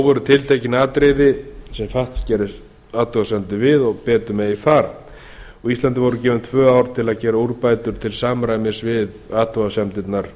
voru tiltekin atriði sem fatf gerði athugasemdir við og betur mega fara íslandi voru gefin tvö ár til að gera úrbætur til samræmis við athugasemdirnar